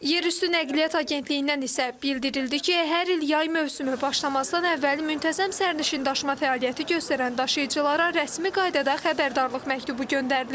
Yerüstü Nəqliyyat Agentliyindən isə bildirildi ki, hər il yay mövsümü başlamazdan əvvəl müntəzəm sərnişindaşıma fəaliyyəti göstərən daşıyıcılara rəsmi qaydada xəbərdarlıq məktubu göndərilir.